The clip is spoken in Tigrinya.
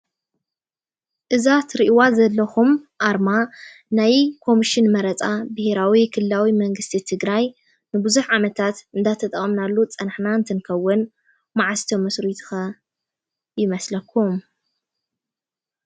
እዛ ትሪእዋ ዘለኹም ኣርማ ናይ ኮምሽን መረፃ ብሄራዊ ክልላዊ መንግስቲ ትግራይ ንብዙሕ ዓመታት እናተጠቐምናሉ ዝፀናሕና እንትንኸውን መዓዝ ተመስሪቱ ኸ ይመስለኩም?